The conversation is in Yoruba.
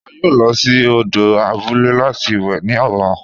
A yóò lọ sí òdò àbúlẹ̀ láti wè ni ọ̀là.